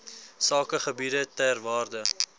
sakegebiede ter waarde